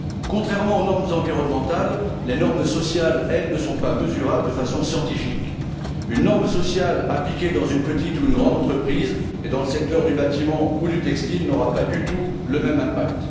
Contrairement aux normes environnementales, les normes sociales, elles, ne sont pas mesurables de façon scientifique. Une norme sociale appliquée dans une petite ou une grande entreprise, dans le secteur du bâtiment ou du textile, n'aura pas du tout le même impact.